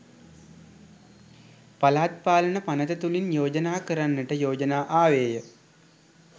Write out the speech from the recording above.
පළාත් පාලන පනත තුළින් යෝජනා කරන්නට යෝජනා ආවේය